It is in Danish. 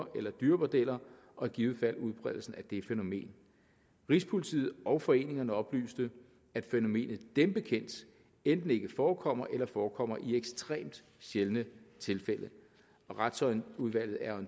eller dyrebordeller og i givet fald om udbredelsen af det fænomen rigspolitiet og foreningerne oplyste at fænomenet dem bekendt enten ikke forekommer eller forekommer i ekstremt sjældne tilfælde og retsudvalget er